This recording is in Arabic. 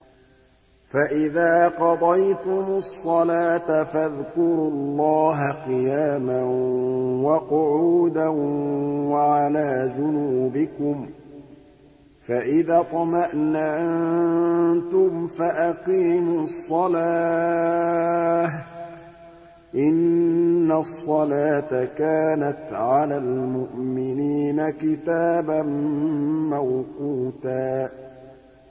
فَإِذَا قَضَيْتُمُ الصَّلَاةَ فَاذْكُرُوا اللَّهَ قِيَامًا وَقُعُودًا وَعَلَىٰ جُنُوبِكُمْ ۚ فَإِذَا اطْمَأْنَنتُمْ فَأَقِيمُوا الصَّلَاةَ ۚ إِنَّ الصَّلَاةَ كَانَتْ عَلَى الْمُؤْمِنِينَ كِتَابًا مَّوْقُوتًا